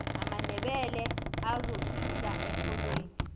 amandebele azofihla erholweni